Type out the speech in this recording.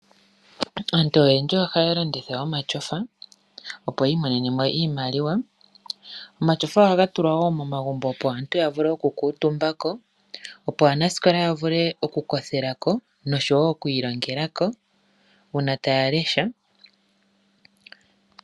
Aantu oyendji ohaya landitha omatyofa, opo yi imonene mo iimaliwa. Omatyofa ohaga tulwa wo momagumbo, opo aantu ya vule okukuutumbako, opo aanasikola ya vule okukothela ko noshowo oku ilongela ko uuna taa lesha.